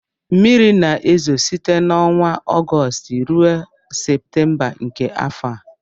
mmiri na-ezo site n'ọnwa Ọgọst ruo Septemba nke afọ a